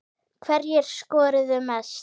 Hverjir skoruðu mest?